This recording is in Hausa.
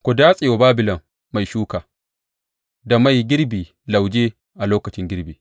Ku datse wa Babilon mai shuka, da mai girbi lauje a lokacin girbi.